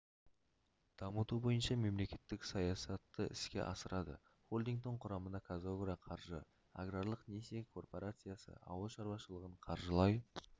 дамыту бойынша мемлекеттік саясатты іске асырады холдингтің құрамына қазагроқаржы аграрлық несие корпорациясы ауыл шаруашылығын қаржылай